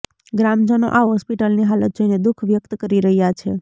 ગ્રામજનો આ હોસ્પિટલની હાલત જોઇને દુઃખ વ્યક્ત કરી રહ્યાં છે